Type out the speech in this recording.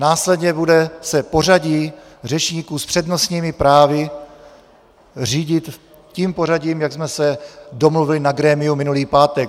Následně se bude pořadí řečníků s přednostními právy řídit tím pořadím, jak jsme se domluvili na grémiu minulý pátek.